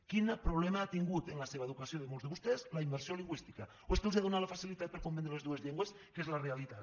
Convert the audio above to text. quin problema ha tingut en la seva educació de molts de vostès la immersió lingüística o és que els ha donat la facilitat per comprendre les dues llengües que és la realitat